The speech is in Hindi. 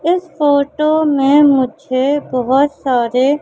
इस फोटो में मुझे बहोत सारे--